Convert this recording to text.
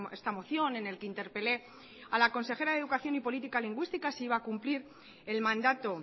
esta moción en el que interpelé a la consejera de educación y política lingüística si iba a cumplir el mandato